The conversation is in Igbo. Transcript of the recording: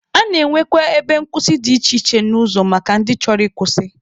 A na-enwekwa ebe nkwụsị dị iche iche n'ụzọ maka ndị chọrọ ịkwụsị.